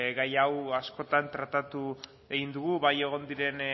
gai hau askotan tratatu egin dugu bai egon diren